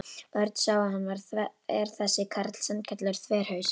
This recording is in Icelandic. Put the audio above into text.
Örn sá að hann var þver þessi karl, sannkallaður þverhaus.